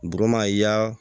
Duguma y'a